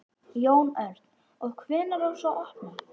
Jón Örn: Og hvenær á svo að opna?